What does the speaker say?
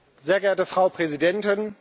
Sehr geehrte Frau Präsidentin!